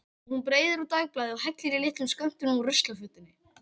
Hún breiðir úr dagblaði og hellir í litlum skömmtum úr ruslafötunni.